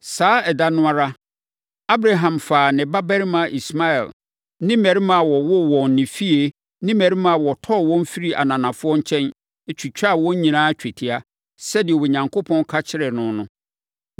Saa ɛda no ara, Abraham faa ne babarima Ismael ne mmarima a wɔwoo wɔn wɔ ne fie ne mmarima a wɔtɔɔ wɔn firii ananafoɔ nkyɛn, twitwaa wɔn nyinaa twetia, sɛdeɛ Onyankopɔn ka kyerɛɛ no no.